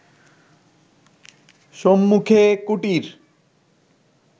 সম্মুখে কুটীর